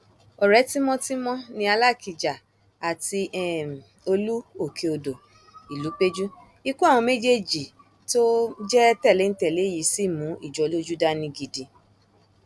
ọrẹ tímọtímọ ni alákijá àti um olú òkèodò ìlúpẹjù ikú àwọn méjèèjì tó um jẹ tẹléńtẹlé yìí sì mú ìjọlójú dání gidi